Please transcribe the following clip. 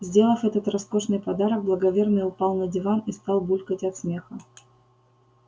сделав этот роскошный подарок благоверный упал на диван и стал булькать от смеха